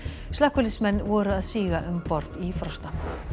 slökkviliðsmenn voru að síga um borð í Frosta